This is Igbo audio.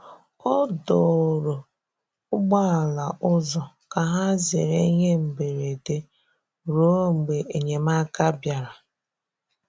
Ọ dòrò̀ ụgbọ̀ala ụzọ ka hà zerè ihe mberede ruo mgbe enyemáka bịara.